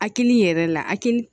Hakili yɛrɛ la hakiliki